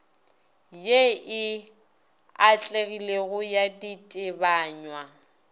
ye e atlegilego ya ditebanywa